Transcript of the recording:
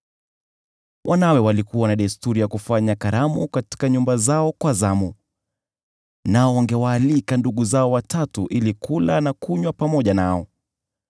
Wanawe walikuwa na desturi ya kufanya karamu katika nyumba zao kwa zamu, nao wangewaalika umbu zao watatu ili kula na kunywa pamoja nao.